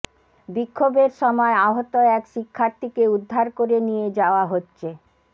বিক্ষোভের সময় আহত এক শিক্ষার্থীকে উদ্ধার করে নিয়ে যাওয়া হচ্ছে